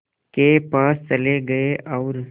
के पास चले गए और